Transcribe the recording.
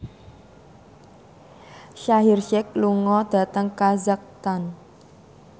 Shaheer Sheikh lunga dhateng kazakhstan